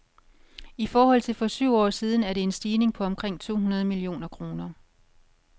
I forhold til for syv år siden er det en stigning på omkring to hundrede millioner kroner.